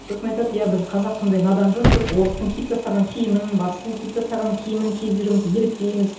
сосын айтады иә біз қазақ сондай надан жұртпыз орыстың киіп тастаған киімін батыстың киіп тастаған киімін киіп жүрміз еліктейміз